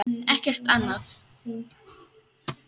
Ekkert annað?